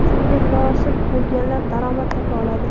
Shunga munosib bo‘lganlar daromad topa oladi.